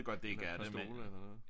Eller et par stole eller hvad